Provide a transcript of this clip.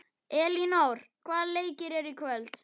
Elínór, hvaða leikir eru í kvöld?